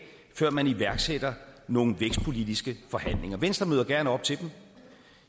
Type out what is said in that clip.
før man iværksætter nogle vækstpolitiske forhandlinger venstre møder gerne op til dem